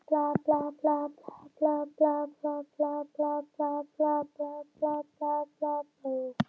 Sko við Jói þurfum ekki nema að ganga upp og niður aðalgötuna sagði